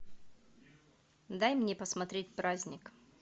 дай мне посмотреть праздник